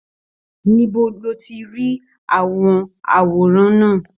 Níbo ni o ti ri àwọn àwòrán náà?